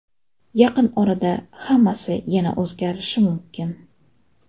Yaqin orada hammasi yana o‘zgarishi mumkin.